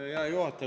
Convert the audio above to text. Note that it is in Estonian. Hea juhataja!